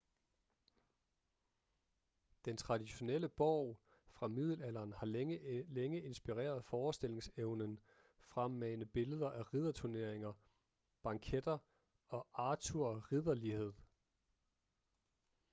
den traditionelle borg fra middelalderen har længe inspireret forestillingsevnen fremmane billeder af ridderturneringer banketter og arthur ridderlighed